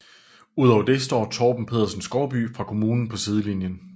Udover det står Torben Pedersen Skovby fra kommunen på sidelinjen